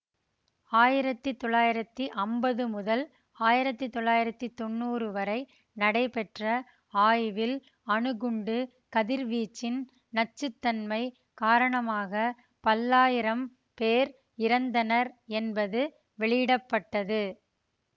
ஆயிரத்தி தொள்ளாயிரத்தி அம்பது முதல் ஆயிரத்தி தொள்ளாயிரத்தி தொன்னூறு வரை நடைபெற்ற ஆய்வில் அணுகுண்டுக் கதிர்வீச்சின் நச்சு தன்மை காரணமாக பல்லாயிரம் பேர் இறந்தனர் என்பது வெளியிட பட்டது